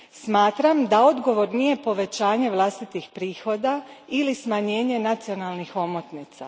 Smatram da odgovor nije povećanje vlastitih prihoda ili smanjenje nacionalnih omotnica.